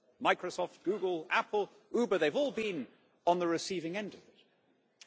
Microsoft, Google, Apple they've all been on the receiving end of it.